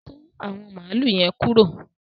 Kọ̀ àwọn máàlù yẹ̀n kúró